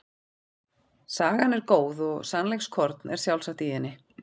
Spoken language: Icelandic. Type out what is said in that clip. Sagan er góð og sannleikskorn er sjálfsagt í henni.